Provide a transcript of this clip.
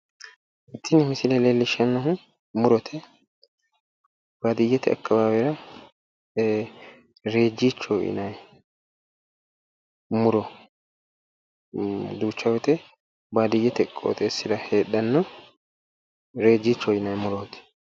Tini misile leellishshannohu murote. Baadiyyete akkawaawera reejjichoho yinayi muro duucha woyite baadiyyete qoxeessira heedhanno reejjichoho yinayi murooti.